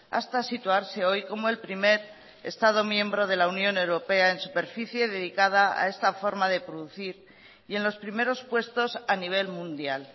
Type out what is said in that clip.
hasta situarse hoy como el primer estado miembro de la unión europea en superficie dedicada a esta forma de producir y en los primeros puestos a nivel mundial